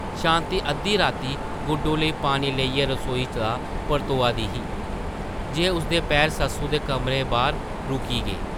शांति अद्घी राती गुड्डो लेई पानी लेइयै रसोई दा परतोआ दी ही जे उसदे पैर सस्सु दे कमरे बाह्र रुकी गे ।